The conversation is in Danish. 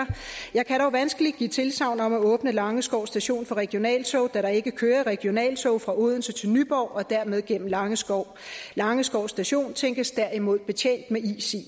jeg kan dog vanskeligt give tilsagn om at åbne langeskov station for regionaltog da der ikke kører regionaltog fra odense til nyborg og dermed gennem langeskov langeskov station tænkes derimod betjent med